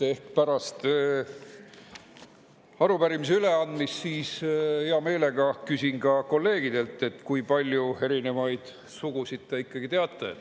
Pärast arupärimise üleandmist küsin hea meelega ka kolleegidelt, kui palju erinevaid sugusid te ikkagi teate.